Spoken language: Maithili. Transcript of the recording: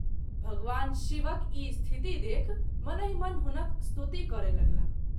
भगवान शिवक ई स्थिति देखि मनहि मन हुनक स्तुति करय लगलाह।